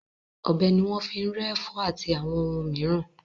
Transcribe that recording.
Ọ̀bẹ ni wọ́n fi ń rẹ́ ẹ̀fọ́ àti àwọn ohun mìíràn.